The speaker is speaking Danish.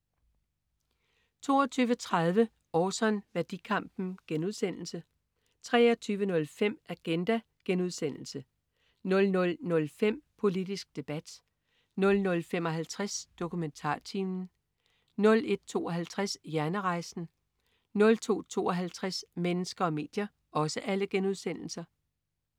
22.30 Orson. Værdikampen* 23.05 Agenda* 00.05 Politisk debat* 00.55 DokumentarTimen* 01.52 Hjernerejsen* 02.52 Mennesker og medier*